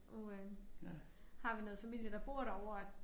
Nu øh har vi noget familie der bor derovre og